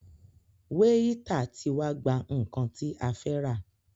Wáítà tí wá gbà nnkan tí a fẹ́ rà.